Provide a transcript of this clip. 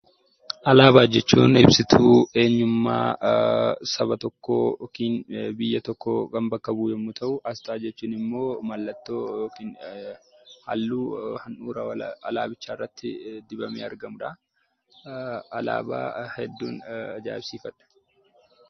Alaabaa jechuun ibsituu eenyummaa saba tokkoo yookiin biyya tokkoo kan bakka bu'u yommuu ta'u, asxaa jechuun immoo mallattoo yookiin halluu alaabicha irratti dibamee argamudha. Alaabaa hedduun ajaa'ibsiifadha.